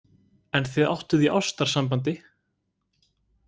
En þið áttuð í ástarsambandi?